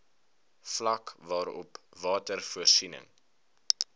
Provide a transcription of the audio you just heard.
vlak waarop watervoorsiening